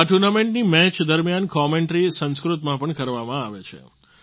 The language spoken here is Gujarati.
આ ટુર્નામેન્ટની મેચ દરમિયાન કોમેન્ટરી સંસ્કૃતમાં પણ કરવામાં આવે છે